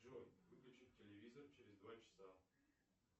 джой выключить телевизор через два часа